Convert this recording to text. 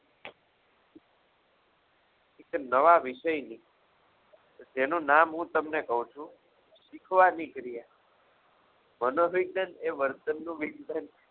એક નવા વિષયની કે જેનું નામ હું તમને કહું છું શીખવાની ક્રિયા મનોવિજ્ઞાન એ વર્તનનું વિજ્ઞાન છે.